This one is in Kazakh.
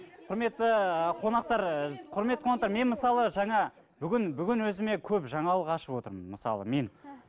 құрметті қонақтар құрметті қонақтар мен мысалы жаңа бүгін бүгін өзіме көп жаңалық ашып отырмын мысалы мен